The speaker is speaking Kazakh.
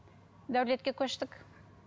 дәулетке көштік